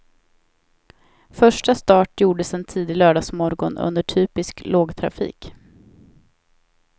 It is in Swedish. Första start gjordes en tidig lördagsmorgon under typisk lågtrafik.